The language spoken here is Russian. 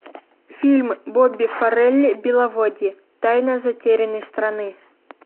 фильм бобби фаррелли беловодье тайна затерянной страны